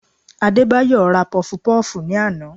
Adébáyọ̀ ra Pọfupọ́ọ̀fù ní àná